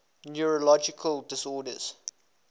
neurological disorders